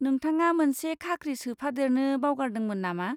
नोंथाङा मोनसे खाख्रि सोफादेरनो बावगारदोंमोन नामा?